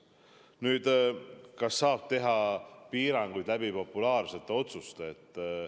Nüüd, kas saab teha piiranguid, langetades populaarseid otsuseid?